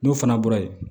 N'o fana bɔra yen